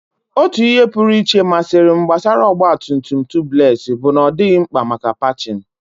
Otu ihe pụrụ iche masịrị m gbasara ọgba tum tum Tubeless bụ na ọ dịghị mkpa maka patching.